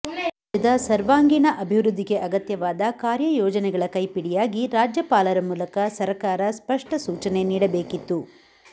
ರಾಜ್ಯದ ಸವರ್ಾಂಗೀಣ ಅಭಿವೃದ್ಧಿಗೆ ಅಗತ್ಯವಾದ ಕಾರ್ಯಯೋಜನೆಗಳ ಕೈಪಿಡಿಯಾಗಿ ರಾಜ್ಯಪಾಲರ ಮೂಲಕ ಸಕರ್ಾರ ಸ್ಪಷ್ಟ ಸೂಚನೆ ನೀಡಬೇಕಿತ್ತು